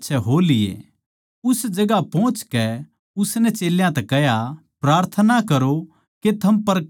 उस जगहां पोहुच कै उसनै चेल्यां तै कह्या प्रार्थना करो कै थम परखे ना जाओ